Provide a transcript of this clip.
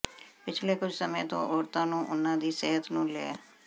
ਪਿਛਲੇ ਕੁੱਝ ਸਮੇਂ ਤੋਂ ਔਰਤਾਂ ਨੂੰ ਉਨ੍ਹਾਂ ਦੀ ਸਿਹਤ ਨੂੰ ਲੈ